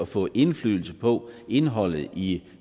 få indflydelse på indholdet i